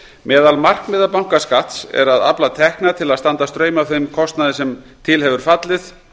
meðal markmiða bankaskatts er að afla tekna til að standa straum af þeim kostnaði sem til hefur fallið